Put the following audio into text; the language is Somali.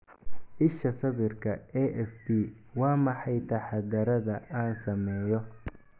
Isha sawirka, AFP Waa maxay taxaddarrada aan sameeyo?